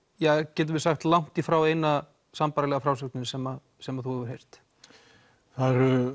getum við sagt langt því frá eina sambærilega frásögnin sem sem þú hefur heyrt það eru